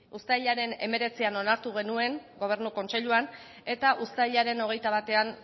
uztailaren hemeretzian onartu genuen gobernu kontseiluan eta uztailaren hogeita batean